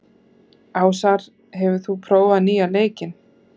Ásar, hefur þú prófað nýja leikinn?